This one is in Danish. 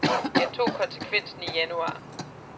Jeg tog konsekvensen i januar.